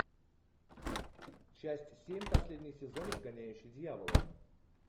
часть семь последний сезон изгоняющий дьявола